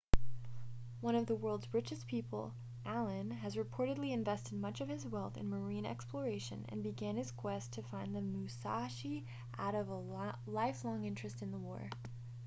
one of the world's richest people allen has reportedly invested much of his wealth in marine exploration and began his quest to find the musashi out of a lifelong interest in the war